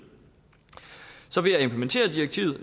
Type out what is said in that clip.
så ved at implementere direktivet